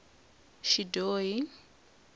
xidyohi